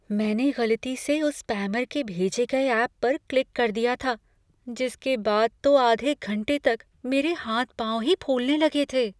मैंने गलती से उस स्पैमर के भेजे गए ऐप पर क्लिक कर दिया था, जिसके बाद तो आधे घंटे तक मेरे हाथ पाँव ही फूलने लगे थे।